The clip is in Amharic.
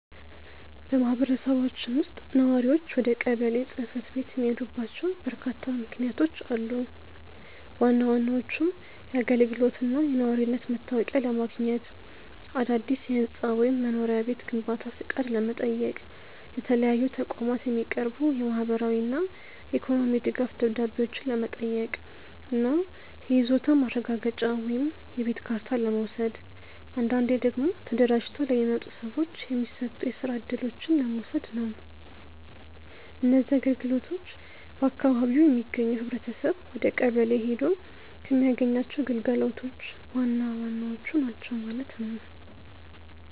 በማኅበረሰባችን ውስጥ ነዋሪዎች ወደ ቀበሌ ጽሕፈት ቤት የሚሄዱባቸው በርካታ ምክንያቶች አሉ። ዋና ዋናዎቹም የአገልግሎትና የነዋሪነት መታወቂያ ለማግኘት፣ አዳዲስ የሕንፃ ወይም የመኖሪያ ቤት ግንባታ ፈቃድ ለመጠየቅ፣ ለተለያዩ ተቋማት የሚቀርቡ የማኅበራዊና የኢኮኖሚ ድጋፍ ደብዳቤዎችን ለመጠየቅ እና የይዞታ ማረጋገጫ ወይም የቤት ካርታ ለመውሰድ፣ አንዳንዴ ደግሞ ተደራጅተው ለሚመጡ ሰዎች የሚሰጡ የስራ እድሎችን ለመውሰድ ነው። እነዚህ አገልግሎቶች በአካባቢው የሚገኘው ኅብረተሰብ ወደቀበሌ ሔዶ ከሚያገኛቸው ግልጋሎቶች ዋናዎቹ ናቸው ማለት ነው።